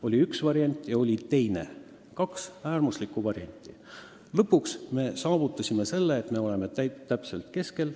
Oli üks variant ja oli teine, oli kaks äärmuslikku varianti, aga lõpuks me saavutasime selle, et me oleme täpselt keskel.